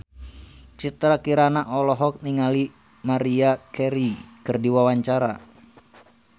Citra Kirana olohok ningali Maria Carey keur diwawancara